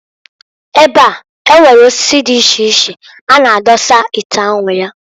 Ebe a, enwere osisi di iche ọ na adọsa ite anwu ya.